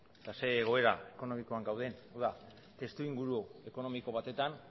eta zein egoera ekonomikoan gauden hau da testuinguru ekonomiko batetan